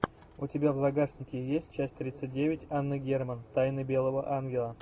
у тебя в загашнике есть часть тридцать девять анны герман тайны белого ангела